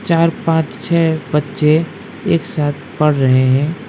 चार पांच छह बच्चे एक साथ पढ़ रहे हैं।